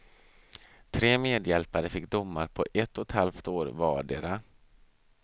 Tre medhjälpare fick domar på ett och ett halvt år vardera.